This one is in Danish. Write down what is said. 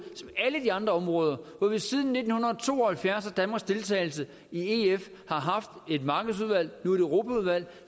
andre områder hvor vi siden nitten to og halvfjerds og danmarks deltagelse i ef har haft et markedsudvalg nu er det europaudvalget